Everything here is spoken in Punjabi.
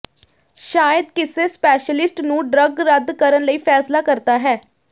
ਸ਼ਾਇਦ ਕਿਸੇ ਸਪੈਸ਼ਲਿਸਟ ਨੂੰ ਡਰੱਗ ਰੱਦ ਕਰਨ ਲਈ ਫੈਸਲਾ ਕਰਦਾ ਹੈ